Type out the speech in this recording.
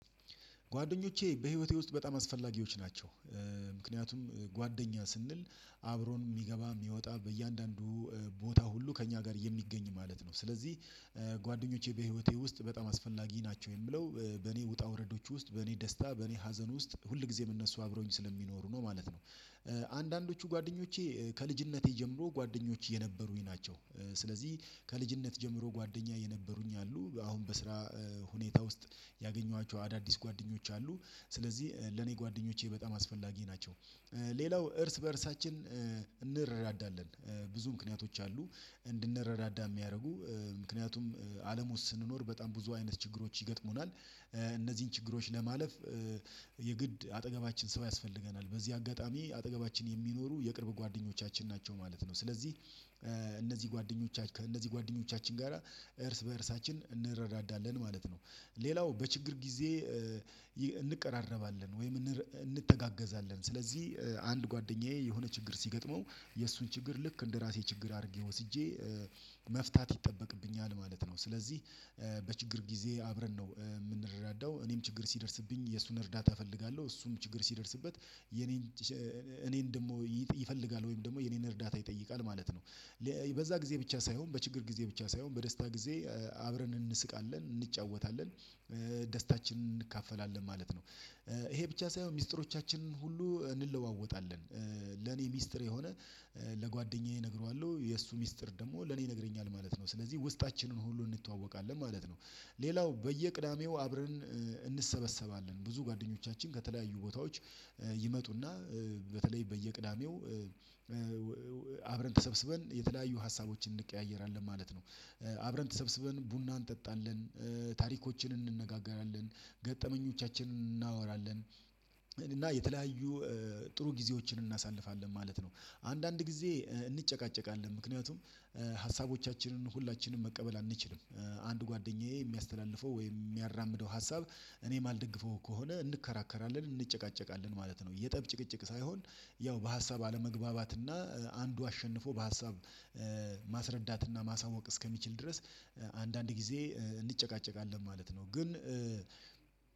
ጓደኞቼ በህይወቴ ውስጥ በጣም አስፈላጊዎች ናቸው። ምክንያቱም ጓደኛ ስንል አብሮን የሚገባ የሚወጣ በእያንዳንዱ ቦታ ሁሉ ከእኛ ጋር የሚገኝ ማለት ነው። ስለዚህ ጓደኞቼ በህይወቴ ውስጥ በጣም አስፈላጊ ናቸው የሚለው በኔ ውጣ ውረዶች ውስጥ በኔ ደስታ በኔ ሀዘን ውስጥ ሁል ጊዜም እነሱ አብረውኝ ስለሚኖሩ ነው ማለት ነው። አንዳንዶቹ ጓደኞቼ ከልጅነቴ ጀምሮ ጓደኞቼ የነበሩኝ ናቸው። ስለዚህ ከልጅነት ጀምሮ ጓደኛ የነበሩኝ አሉ አሁን በስራ ሁኔታ ውስጥ ያገኘኋቸው አዳዲስ ጓደኞች አሉ። ስለዚህ ለኔ ጓደኞቼ በጣም አስፈላጊ ናቸው። ሌላው እርስ በእርሳችን እንረዳዳለን ብዙ ምክንያቶች አሉ። እንድንረዳዳ የሚያደርጉ ምክንያቱም አለም ውስጥ ስንኖር በጣም ብዙ አይነት ችግሮች ይገጥሙናል እነዚህን ችግሮች ለማለፍ የግድ አጠገባችን ሰው ያስፈልገናል በዚህ አጋጣሚ አጠገባችን የሚኖሩ የቅርብ ጓደኞቻችን ናቸው ማለት ነው። ስለዚህ እነዚህ ጓደኞቻችን ከእነዚህ ጋራ እርስ በእርሳችን እንረዳዳለን ማለት ነው። ሌላው በችግር ጊዜ እንቀራረባለን ወይም እንተጋገዛለን። ስለዚህ አንድ ጓደኛዬ የሆነ ችግር ሲገጥመው የእሱን ችግር ልክ እንደራሴ ችግር አድርጌ ወስጄ መፍታት ይጠበቅብኛል ማለት ነው። ስለዚህ በችግር ጊዜ አብረን ነው የምንረዳዳው እኔም ችግር ሲደርስብኝ የእሱን እርዳታ እፈልጋለሁ እሱም ችግር ሲደርስበት የኔን እኔን ደግሞ ይፈልጋል ወይም ደግሞ የኔን እርዳታ ይጠይቃል ማለት ነው። በዛ ጊዜ ብቻ ሳይሆን በችግር ጊዜ ብቻ ሳይሆን በደስታ ጊዜ አብረን እንስቃለን እንጫወታለን ደስታችንን እንካፈላለን ማለት ነው። ይሄ ብቻ ሳይሆን ሚስጥሮቻችንን ሁሉ እንለዋወጣለን። ለኔ ሚስጥር የሆነ ለጓደኛዬ እነግረዋለሁ የእሱ ሚስጥር ደግሞ ለኔ ይነግረኛል ማለት ነው። ስለዚህ ውስጣችንን ሁሉ እንተዋወቃለን ማለት ነው። ሌላው በየቅዳሜው አብረን እንሰበሰባለን ብዙ ጓደኞቻችን ከተለያዩ ቦታዎች ይመጡና በተለይ በየቅዳሜው አብረን ተሰብስበን የተለያዩ ሀሳቦችን እንቀያየራለን ማለት ነው። አብረን ተሰብስበን ቡናን እንጠጣለን ታሪኮችን እንነጋገራለን ገጠመኞቻችንን እናወራለን። እና የተለያዩ ጥሩ ጊዜዎችን እናሳልፋለን ማለት ነው። አንዳንድ ጊዜ እንጨቃጨቃለን ምክንያቱም ሀሳቦቻችንን ሁላችንም መቀበል አንችልም አንድ ጓደኛዬ የሚያስተላልፈው ወይም የሚያራምደው ሀሳብ እኔ እማልደግፈው ከሆነ እንከራከራለን እንጨቃጨቃለን ማለት ነው። የጠብ ጭቅጭቅ ሳይሆን ያው በሀሳብ አለመግባባትና አንዱ አሸንፎ በሀሳብ ማስረዳትና ማሳወቅ እስከሚችል ድረስ አንዳንድ ጊዜ እንጨቃጨቃለን ማለት ነው። ግን